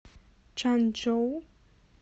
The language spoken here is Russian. чанчжоу